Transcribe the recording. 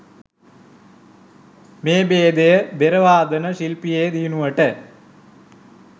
මේ බේදය බෙර වාදන ශිල්පයේ දියුණුවට